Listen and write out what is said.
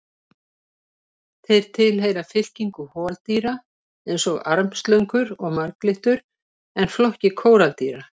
Þeir tilheyra fylkingu holdýra eins og armslöngur og marglyttur en flokki kóraldýra.